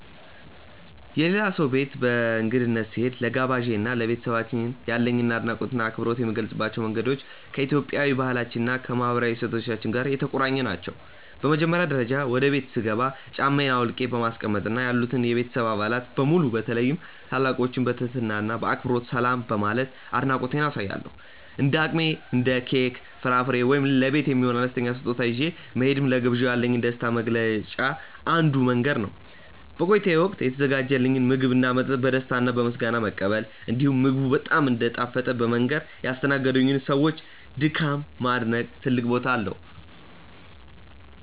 የሌላ ሰው ቤት በእንግድነት ስሄድ፣ ለጋባዤ እና ለቤተሰባቸው ያለኝን አድናቆትና አክብሮት የምገልጽባቸው መንገዶች ከኢትዮጵያዊ ባህላችን እና ከማህበራዊ እሴቶቻችን ጋር የተቆራኙ ናቸው። በመጀመሪያ ደረጃ፣ ወደ ቤቱ ስገባ ጫማዬን አውልቄ በማስቀመጥ እና ያሉትን የቤተሰብ አባላት በሙሉ በተለይም ታላላቆችን በትህትና እና በአክብሮት ሰላም በማለት አድናቆቴን አሳያለሁ። እንደ አቅሜ እንደ ኬክ፣ ፍራፍሬ ወይም ለቤት የሚሆን አነስተኛ ስጦታ ይዤ መሄድም ለግብዣው ያለኝን ደስታ መግለጫ አንዱ መንገድ ነው። በቆይታዬም ወቅት የተዘጋጀልኝን ምግብና መጠጥ በደስታ እና በምስጋና መቀበል፣ እንዲሁም ምግቡ በጣም እንደጣፈጠ በመንገር ያስተናገዱኝን ሰዎች ድካም ማድነቅ ትልቅ ቦታ አለው።